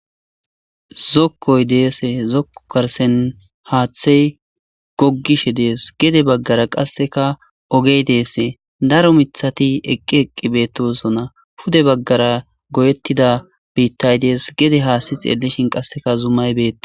Zokkoy deese. Zokko garssen haathey goggishe dees.gede bagara qasseka ogey dees. Daro miththati eqqi eqqi beetoosona. Pude baggara goyetida biitay des. Gede haassi xeellishinqasseka zumay beetees.